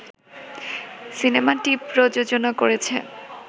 সিনেমাটি প্রযোজনা করেছে